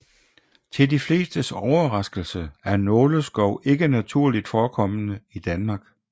Til de flestes overraskelse er nåleskov ikke naturligt forekommende i Danmark